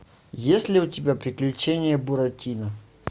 есть ли у тебя приключения буратино